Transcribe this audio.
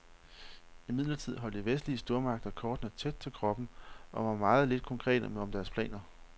Imidlertid holdt de vestlige stormagter kortene tæt til kroppen og var meget lidt konkrete om deres planer.